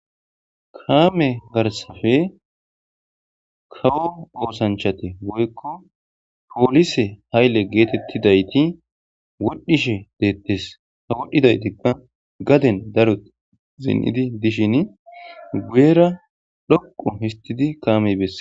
kaame garsafe kawo oosanchate boykko poolise haylle geetettidayti wodhishe deettes ha wodhdhidaytikka gaden daru zin7idi dishin guyera dhoqo histidi kaamey besse